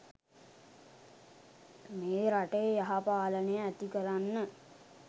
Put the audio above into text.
මේ රටේ යහපාලනය ඇති කරන්න.